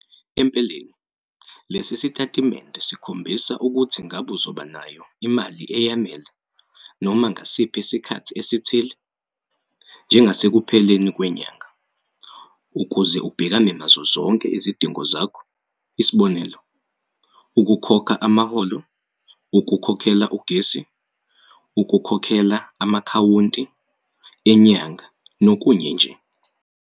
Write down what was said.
Empeleni, le sitatimende sikhombisa ukuthi ngabe uzoba nayo imali eyanele noma ngasiphi isikhathi esithile, njengasekupheleni kwenyanga, ukuze ubhekane nazo zonke izidingo zakho. Isibonelo, ukukhokha amaholo, ukukhokhela ugesi, ukukhokhela ama-akhawunti enyanga nokunye nje.